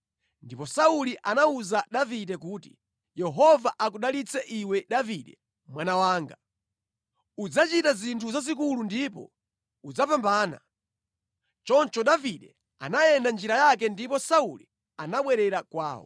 Ndipo Sauli anawuza Davide kuti, “Yehova akudalitse iwe Davide mwana wanga. Udzachita zinthu zazikulu ndipo udzapambana.” Choncho Davide anayenda njira yake ndipo Sauli anabwerera kwawo.